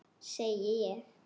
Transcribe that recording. Segi ég.